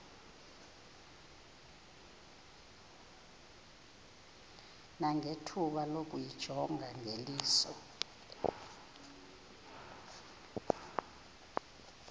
nangethuba lokuyijonga ngeliso